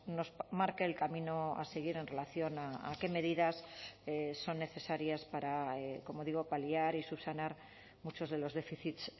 nos marque el camino a seguir en relación a qué medidas son necesarias para como digo paliar y subsanar muchos de los déficits